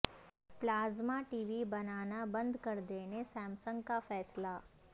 پلا ز ما ٹی وی بنا نا بند کر د ینے سیمسنگ کا فیصلہ